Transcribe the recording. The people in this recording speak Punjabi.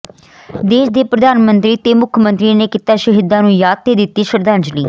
ਦੇਸ਼ ਦੇ ਪ੍ਰਧਾਨ ਮੰਤਰੀ ਤੇ ਮੁੱਖ ਮੰਤਰੀ ਨੇ ਕੀਤਾ ਸ਼ਹੀਦਾਂ ਨੂੰ ਯਾਦ ਤੇ ਦਿੱਤੀ ਸ਼ਰਧਾਂਜਲੀ